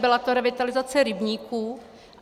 Byla to revitalizace rybníků.